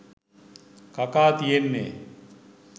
කකා තියෙන්නේ .